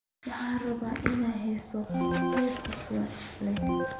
Waxaan rabaa in aan heeso heeso cusub leh